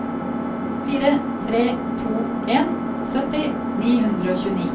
fire tre to en sytti ni hundre og tjueni